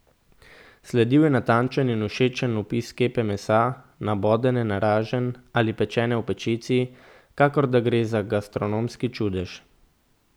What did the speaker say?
Sledil je natančen in všečen opis kepe mesa, nabodene na raženj ali pečene v pečici, kakor da gre za gastronomski čudež.